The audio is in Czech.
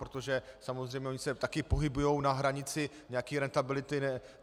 Protože samozřejmě ony se také pohybují na hranici nějaké rentability.